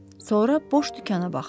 Sonra boş dükana baxdı.